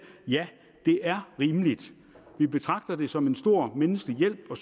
ja det er rimeligt vi betragter det som en stor menneskelig hjælp og